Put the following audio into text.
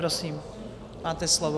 Prosím, máte slovo.